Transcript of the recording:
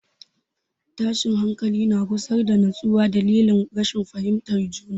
Tashin hankali na gusar da nutsuwa dalilin rashin fahimtar juna.